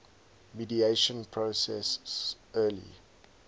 mediation process early